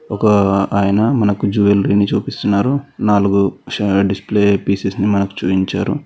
ఒక అయన మనకు జ్యువలరీ ని చూపిస్తున్నారు నాలుగు డిస్ప్లే పీసస్ ని మనకి చూయించారు.